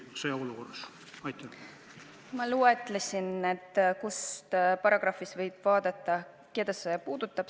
Ma loetlesin need ametikohad ja nimetasin, mis paragrahvist võib vaadata, keda see puudutab.